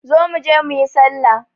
Zo mu je mu yi sallah.